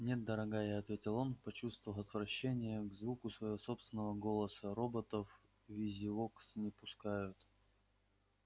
нет дорогая ответил он почувствовав отвращение к звуку своего собственного голоса роботов в визивокс не пускают